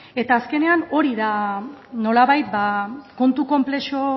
eta azkenean hori da nolabait kontu konplexu